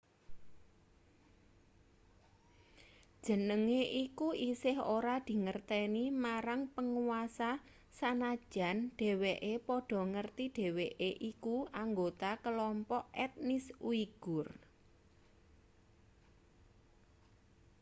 jenenge iku isih ora dingerteni marang panguasa sanajan dheweke padha ngerti dheweke iku anggota kelompok etnis uigur